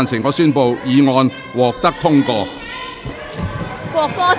我宣布議案獲得通過。